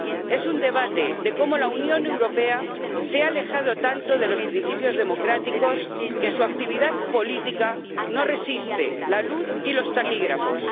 Es un debate de cómo la Unión Europea se ha alejado tanto de los principios democráticos que su actividad política no resiste la luz y los taquígrafos.